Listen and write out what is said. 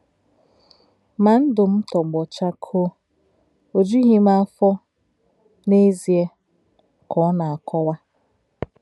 “ Mà ǹdụ̀ m̀ tọ́gbọ̀ chakò̄ò̄, ò jù̄ghì m̀ áfò̄ n’èzì̄è̄, ” ka ọ̀ nā-àkò̄wá̄.